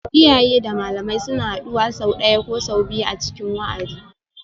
Iyaye da malamai suna haduwa sau ɗaya ko sau biyu a cikin wa'adi